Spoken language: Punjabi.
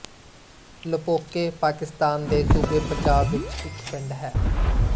ਲੋਪੋਕੇ ਪਾਕਿਸਤਾਨ ਦੇ ਸੂਬੇ ਪੰਜਾਬ ਵਿੱਚ ਇੱਕ ਪਿੰਡ ਹੈ